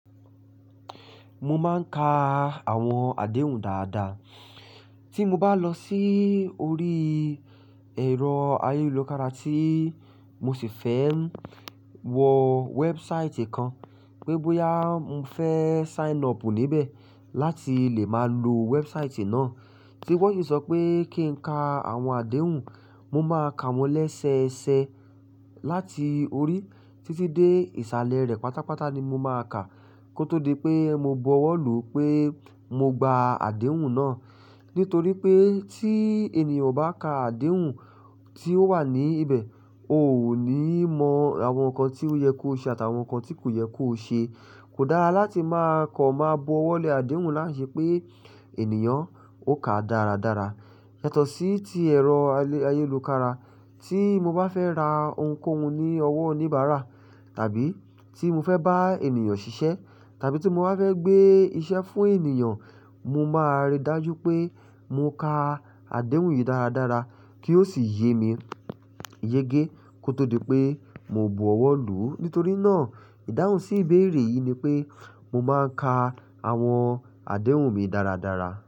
Mo máa ń ka àwọn àdéhùn dáadáa. Tí mo bá lọ sí orí ẹ̀rọ ayélujára tí mo sì fẹ́ ń wọ wẹ́ẹ̀bùsáìtì kan pé bọ́yá mo fẹ́ sign up níbẹ̀ láti lè máa lo wẹ́ẹ̀bùsáìtì náà, tí wọ́n sì sọ pé kí n ka àwọn àdéhùn, mo máa ka wọ́n léṣẹṣẹ láti orí títí dé ìsàlẹ̀ rẹ̀ pátápátá ni mo máa kà, kó tó di pé mo bu ọwọ́ lù ú pé mo gba àdéhùn náà. Nítorí pé tí ènìyàn bá ka àdéhùn tí ó wà níbẹ̀, ò ni mọ àwọn nǹkan tí ó yẹ kó ṣe àtàwọn nǹkan tí kò yẹ kó ṣe. Kò dára láti máa kọ̀ máa bu ọwọ́ lé àdéhùn láì ṣe pé ènìyàn ó ka dáradára. Yàtọ̀ sí ti ẹ̀rọ ayélujára tí mo bá fẹ́ ra ohunkóhun ní owó oníbàárà tàbí tí mo fẹ́ bá ènìyàn ṣiṣẹ́ tàbí tí mo bá fẹ́ gbé iṣẹ́ fún ènìyàn, mo máa rí dájú pé mo ka àdéhùn yìí dáradára kí ó sì yé mi yége kó tó di pé mo bu ọwọ́ lù ú. Nítorí náà, ìdáhùn sí ìbéèrè yìí ni pé mo máa ń ka àwọn àdéhùn mi dáradára.